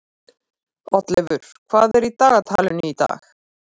Oddleifur, hvað er í dagatalinu í dag?